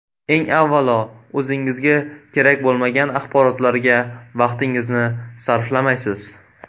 Eng avvalo o‘zingizga kerak bo‘lmagan axborotlarga vaqtingizni sarflamaysiz.